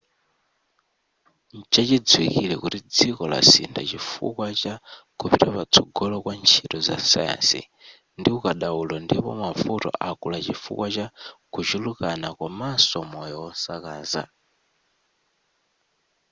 nchachidziwikile kuti dziko lasintha chifukwa cha kupita patsogolo kwa ntchito za sayansi ndi ukadaulo ndipo mavuto akula chifukwa cha kuchulukana komanso moyo wosakaza